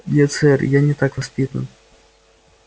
нет сэр я не так воспитан